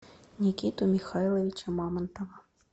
никиту михайловича мамонтова